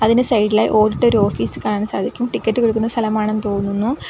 അതിനു സൈഡിലായി ഓടിട്ടൊരു ഓഫീസ് കാണാൻ സാധിക്കും ടിക്കറ്റ് കൊടുക്കുന്ന സ്ഥലമാണെന്ന് തോന്നുന്നു.